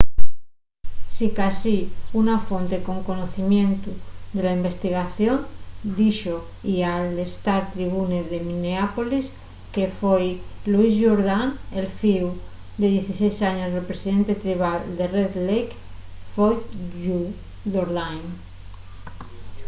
sicasí una fonte con conocimientu de la investigación díxo-y al star-tribune de minneapolis que foi louis jourdan el fíu de 16 años del presidente tribal de red lake floyd jourdain